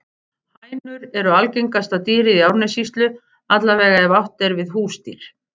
Hænur eru algengasta dýrið í Árnessýslu, alla vega ef átt er við húsdýr.